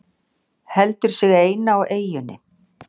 Heldur sig eina á eyjunni.